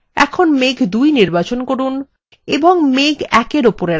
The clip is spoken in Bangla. এখন মেঘ ২ নির্বাচন করুন এবং মেঘ ১এর ওপরে রাখুন